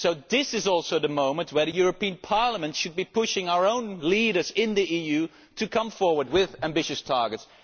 This is also the moment when Parliament should be pushing our own leaders in the EU to come forward with ambitious targets.